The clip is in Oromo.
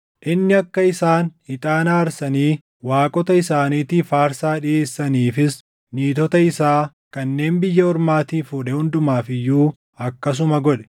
Inni akka isaan ixaana aarsanii waaqota isaaniitiif aarsaa dhiʼeessaniifis niitota isaa kanneen biyya ormaatii fuudhe hundumaaf iyyuu akkasuma godhe.